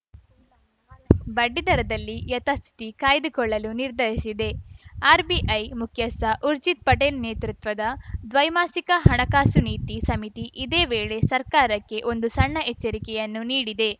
ಬಡ್ಡಿ ದರದಲ್ಲಿ ಯಥಾಸ್ಥಿತಿ ಕಾಯ್ದುಕೊಳ್ಳಲು ನಿರ್ಧರಿಸಿದೆ ಆರ್‌ಬಿಐ ಮುಖ್ಯಸ್ಥ ಊರ್ಜಿತ್‌ ಪಟೇಲ್‌ ನೇತೃತ್ವದ ದ್ವೈಮಾಸಿಕ ಹಣಕಾಸು ನೀತಿ ಸಮಿತಿ ಇದೇ ವೇಳೆ ಸರ್ಕಾರಕ್ಕೆ ಒಂದು ಸಣ್ಣ ಎಚ್ಚರಿಕೆಯನ್ನೂ ನೀಡಿದೆ